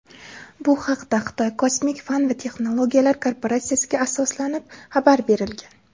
Bu haqda Xitoy kosmik fan va texnologiyalar korporatsiyasiga asoslanib xabar berilgan.